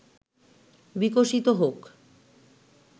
বিকশিত হোক